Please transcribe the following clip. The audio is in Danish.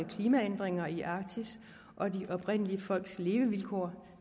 klimaændringer i arktis og de oprindelige folks levevilkår